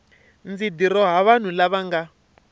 ndzi dirowa vanhu lava nga